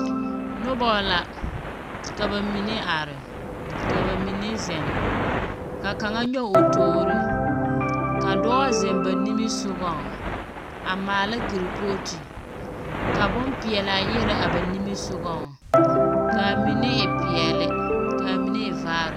Noba. Ka ba mine are. Ka ba mine zeŋ. Ka kaŋa nyɔge o toori. Ka dɔɔ zeŋ ba nimisogɔŋ, a maala kerepooti, ka bompeɛlaa yɛre a ba niŋesogɔŋ kaa mine peɛle, kaa mine e vaare.